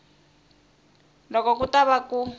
loko ku ta va ku